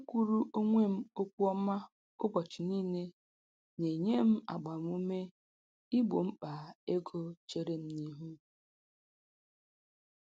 Ikwuru onwe m okwu ọma ụbọchị niile, na-enye m agbam ume igbo mkpa ego cheere m n'ihu